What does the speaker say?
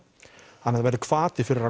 að það verður hvati fyrir